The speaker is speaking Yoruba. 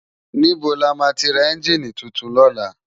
Nibó làmá ti rá ènjini túntún lòlá?